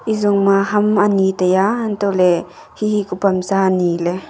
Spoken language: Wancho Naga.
ejong ma ham anii taiaa hantole hihi ku pamsa aniley.